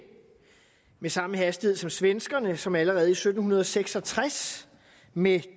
med samme hastighed som svenskerne som allerede i sytten seks og tres med